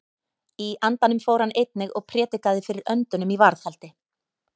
Í andanum fór hann einnig og prédikaði fyrir öndunum í varðhaldi.